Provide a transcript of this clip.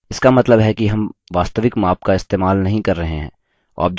इसका मतलब है कि हम वास्तविक माप का इस्तेमाल नही कर रहे हैं